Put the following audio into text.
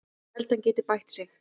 Ég held að hann geti bætt sig.